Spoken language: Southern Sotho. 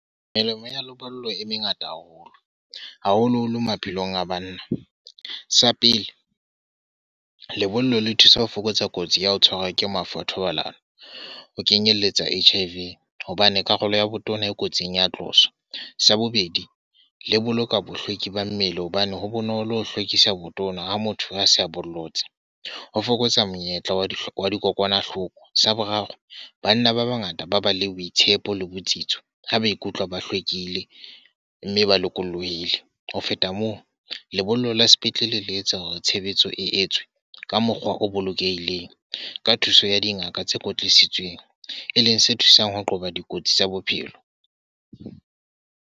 Melemo ya lebollo e mengata haholo. Haholo-holo maphelong a bana. Sa pele, lebollo le thusa ho fokotsa kotsi ya ho tshwarwa ke mafu a thobalano, ho kenyelletsa H_I_V. Hobane karolo ya botona e kotsing ya tloswa. Sa bobedi, le boloka bohlweki ba mmele hobane ho bonolo ho hlwekisa botona ha motho a se a bollotse. Ho fokotsa monyetla, wa di hloka dikokwanahloko. Sa boraro, banna ba bangata ba bale boitshepo le botsitso ha maikutlo ba hlwekile, mme ba lokolohile. Ho feta moo, lebollo la sepetlele le etsa hore tshebetso e etswe ka mokgwa o bolokehileng, ka thuso ya dingaka tse kwetisitsweng. E leng se thusang ho qoba dikotsi tsa bophelo.